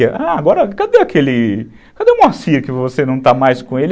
Ah, agora cadê aquele... Cadê o Moacir que você não está mais com ele?